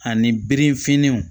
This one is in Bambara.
Ani birifininw